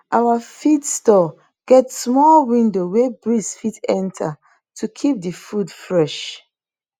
our feed store get small window wey breeze fit enter to keep the food fresh